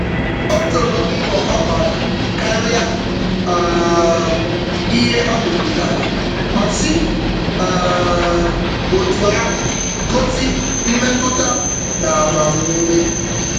O toro mbọ ha gbàrà karịa um ihe ha mepụtara, ma si um otú ahụ gosi mmetụta na agbam-ume